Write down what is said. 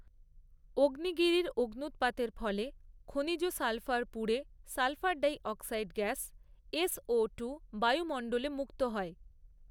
অগ্নিগিরির অগ্নুৎ্পাতের ফলে খনিজ সালফার পুড়ে sulphur dioxide gas S O two বায়ুমণ্ডলে মুক্ত হয়।